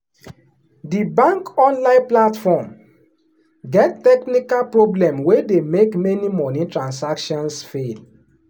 the bank online platform get technical problem wey dey make many money transactions fail.